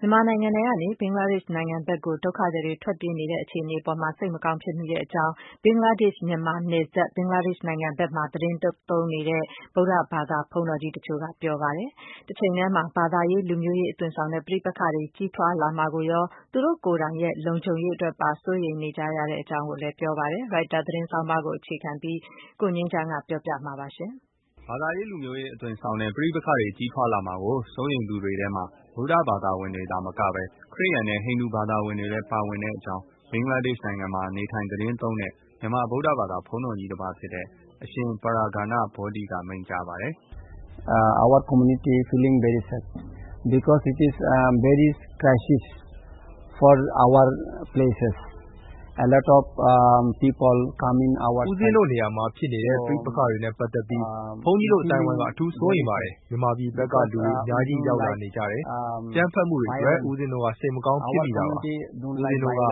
မြန်မာနိုင်ငံထဲကနေ ဘင်္ဂလားဒေ့ရှ်နိုင်ငံကို ဒုက္ခသည်တွေ ထွက်ပြေးလာနေတဲ့ အခြေအနေအပေါ် စိတ်မကောင်းဖြစ်မိတဲ့အကြောင်း ဘင်္ဂလားဒေ့ရှ် မြန်မာနယ်စပ်၊ ဘင်္ဂလားဒေ့ရှ်နိုင်ငံအတွင်းမှာ သီတင်းသုံးနေတဲ့ ဗုဒ္ဓဘာသာ ဘုန်းတော်ကြီး တချို့က ပြောဆိုပါတယ်။ တချိန်တည်းမှာ ဘာသာရေး လူမျိုးရေး အသွင်ဆောင်တဲ့ ပဋိပက္ခတွေ ကြီးထွားလာမှာ စိုးရိမ်တဲ့အတွက် သူတို့ လုံခြုံရေးအတွက် စိုးရိမ်တဲ့အကြောင်း ပြောဆိုကြပါတယ်။ Reuters သတင်းဆောင်းပါးတပုဒ်ကို ကိုငြိမ်းချမ်းက ပြောပြပါလိမ့်မယ်။ ဘာသာရေး လူမျိုးရေး အသွင်ဆောင်တဲ့ ပဋိပက္ခတွေ ကြီးထွားလာမှာကို စိုးရိမ်သူတွေထဲမှာ ဗုဒ္ဓဘာသာဝင်တွေတင် သာမကပဲ ခရစ်ယာန်နဲ့ ဟိန္ဒူဘာသာဝင်တွေလည်း ပါဝင်တဲ့အကြောင်း ဘင်္ဂလားဒေ့ရှ်နိုင်ငံမှာ နေထိုင် သတင်းသုံးတဲ့ မြန်မာ ဗုဒ္ဓဘာသာ တပါးဖြစ်တဲ့ အရှင် Praghna Bodhi က မိန့်ကြားပါတယ်။ “ ဦးပဉ္စင်းတို့ နေရာမှာ ဖြစ်နေတဲ့ ပဋိပက္ခတွေနဲ့ ပတ်သက်ပြီး ဘုန်းကြီးတို့ အသိုင်းအဝိုင်းက အထူးစိုးရိမ်ပါတယ်။ မြန်မာပြည်ဘက်က လူတွေ အများကြီးရောက်လာနေကြတယ်။ အကြမ်းဖက်မှုတွေ အတွက် ဦးပဉ္စင်း တို့က စိတ်မကောင်းဖြစ်မိတာပါ။ ဦးပဉ္စင်း တို့က